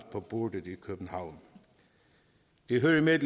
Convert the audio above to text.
på bordet i københavn det hører med